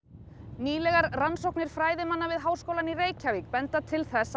nýlegar rannsóknir fræðimanna við Háskólann í Reykjavík benda til